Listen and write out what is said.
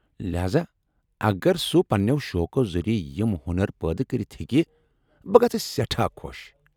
لہاذا اگر سُہ پننیو شوقو ذریعہ یِم ہۄنر پٲدٕ كرِتھ ہیكہِ ، بہٕ گژھہٕ سیٹھاہ خو٘ش ۔